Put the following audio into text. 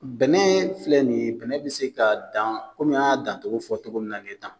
Bɛnɛ filɛ nin ye bɛnɛ bɛ se ka dan kɔmi an y'a dancogo fɔ cogo min na nin ye tan